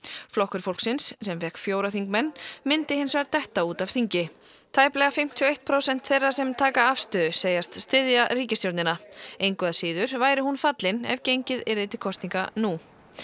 flokkur fólksins sem fékk fjóra þingmenn myndi hins vegar detta út af þingi tæplega fimmtíu og eitt prósent þeirra sem taka afstöðu segist styðja ríkisstjórnina engu að síður væri hún fallin ef gengið yrði til kosninga nú